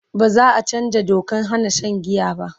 baza'a chanzaa Dokan Hana Shan giya ba